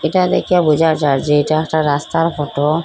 এটা দেখে বোঝা যার যে এটা একটা রাস্তার ফটো ।